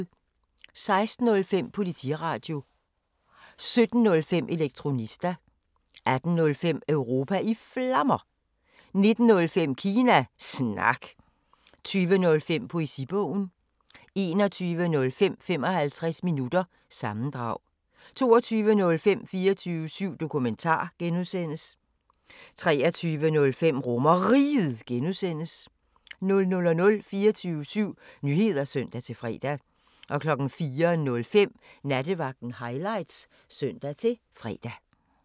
16:05: Politiradio 17:05: Elektronista 18:05: Europa i Flammer 19:05: Kina Snak 20:05: Poesibogen 21:05: 55 minutter – sammendrag 22:05: 24syv Dokumentar (G) 23:05: RomerRiget (G) 00:00: 24syv Nyheder (søn-fre) 04:05: Nattevagten Highlights (søn-fre)